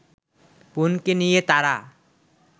বোনকে নিয়ে তারা